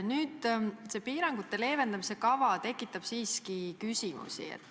Nüüd, see piirangute leevendamise kava tekitab siiski küsimusi.